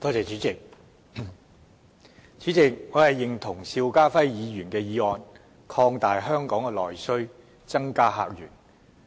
主席，我認同邵家輝議員的議案，擴大香港的內需，增加客源。